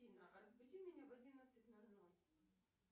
афина разбуди меня в одиннадцать ноль ноль